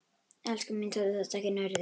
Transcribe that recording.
Elskan mín, taktu þetta ekki nærri þér.